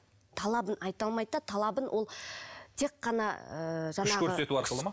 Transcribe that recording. талабын айта алмайды да талабын ол тек қана ыыы күш көрсету арқылы ма